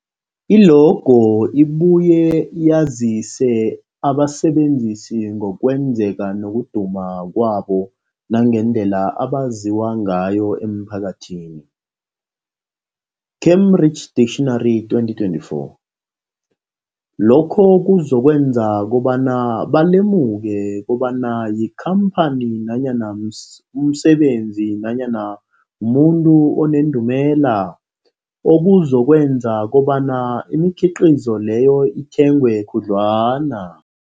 I-logo ibuye yazise abasebenzisi ngokwazeka nokuduma kwabo nangendlela abaziwa ngayo emphakathini, Cambridge Dictionary 2024. Lokho kuzokwenza kobana balemuke kobana yikhamphani nanyana umsebenzi nanyana umuntu onendumela, okuzokwenza kobana imikhiqhizo leyo ithengwe khudlwana.